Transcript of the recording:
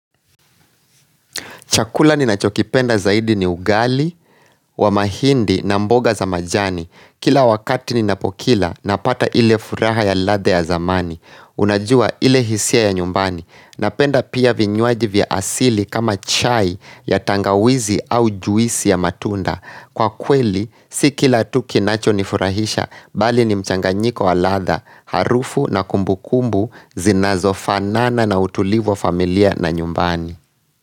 Chakula ninachokipenda zaidi ni ugali wa mahindi, na mboga za majani. Kila wakati ninapokila, napata ile furaha ya ladha ya zamani. Unajua ile hisia ya nyumbani. Napenda pia vinywaji vya asili kama chai ya tangawizi au juisi ya matunda. Kwa kweli, si kila tu kinachonifurahisha, bali ni mchanganyiko wa ladha, harufu na kumbukumbu, zinazofanana na utulivu wa familia na nyumbani.